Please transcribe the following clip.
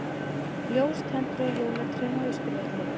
Ljós tendruð á jólatrénu á Austurvelli